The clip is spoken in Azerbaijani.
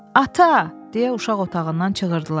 Ata, deyə uşaq otağından çığırdılar.